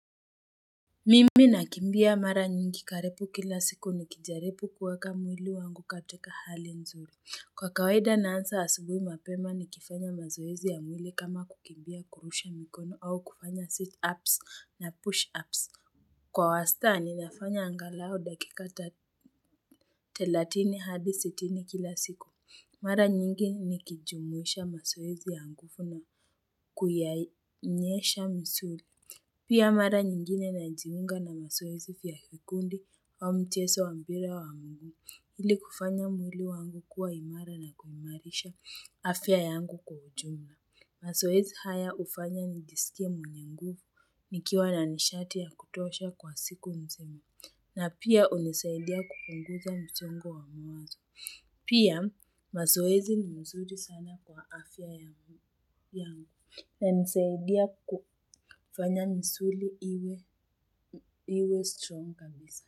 Mimi nakimbia mara nyingi karibu kila siku nikijaribu kuweka mwili wangu kwa hali nzuri kwa kawaida naanza asubuhi mapema nikifanya mazoezi ya mwili kama kukimbia kurusha mikono au kufanya situps na push ups wa wastani nafanya angalau dakika thelatini hadi sitini kila siku. Mara nyingi nikijumuisha mazoezi ya nguvu na kuyanyeesha msuri. Pia mara nyingine najiunga na mazoezi vyaa vikundi wa mchezo wa mpira wa mguu ili kufanya mwili wangu kuwa imara na kuimarisha afya yangu kwa ujumla. Mazoezi haya hufanya nijsikie mwenye nguvu nikiwa na nishati ya kutosha kwa siku nzima na pia hunisaidia kupunguza msongo wa mawazo. Pia mazoezi ni mzuri sana kwa afya yangu unanisaidia kufanya misuli iwe strong kabisa.